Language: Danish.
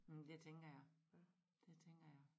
Mh det tænker jeg det tænker jeg